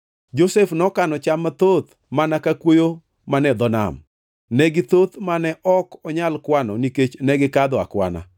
Josef nokano cham mathoth mana ka kuoyo mane dho nam; ne githoth mane ok onyal kwano nikech negikadho akwana.